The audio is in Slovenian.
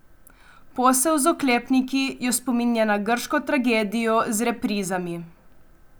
Posel z oklepniki jo spominja na grško tragedijo z reprizami.